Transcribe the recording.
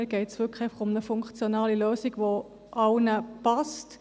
Mir geht es um eine funktionale Lösung, die allen passt.